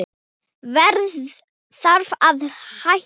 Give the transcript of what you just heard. Verð þarf að hækka